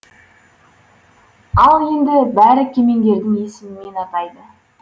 ал енді бәрі кемеңгердің есімімен атайды